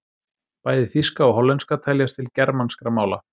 Bæði þýska og hollenska teljast til germanskra mála.